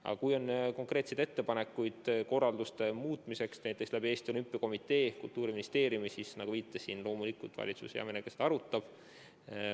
Aga kui on konkreetseid ettepanekuid korralduse muutmiseks kas Eesti Olümpiakomitee või Kultuuriministeeriumi kaudu, siis nagu viitasin, loomulikult valitsus hea meelega neid arutab.